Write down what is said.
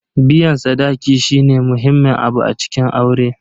Biyan sadaki shine muhimmin abu a cikin aure.